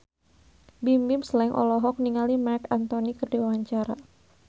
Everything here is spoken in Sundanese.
Bimbim Slank olohok ningali Marc Anthony keur diwawancara